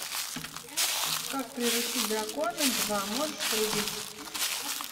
как приручить дракона два можешь врубить